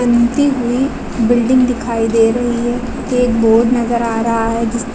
बंती हुई बिल्डिंग दिखाई दे रही है एक बोर्ड नजर आ रहा है।